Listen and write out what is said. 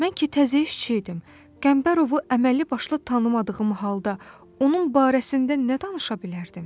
Mən ki, təzə işçi idim, Qəmbərovu əməlli-başlı tanımadığım halda onun barəsində nə danışa bilərdim?